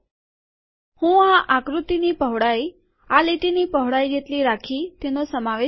હું આ આકૃતિને તેની પહોળાઇ આ લીટીની પહોળાઇ જેટલી રાખી તેનો સમાવેશ કરીશ